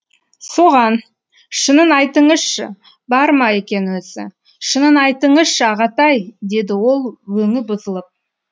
соған шынын айтыңызшы бар ма екен өзі шынын айтыңызшы ағатай деді ол өңі бұзылып